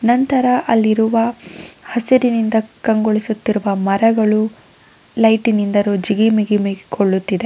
ನಂತರ ಅಲ್ಲಿರುವ ಹಸಿರಿನಿಂದ ಕಂಗೊಳಿಸುತ್ತಿರುವ ಮರಗಳು ಲೈಟಿ ನಿಂದರು ಜಿಗಿಮಿಗಿ ಕೊಳ್ಳುತ್ತಿದೆ.